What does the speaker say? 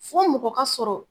Fɔ mɔgɔ ka sɔrɔ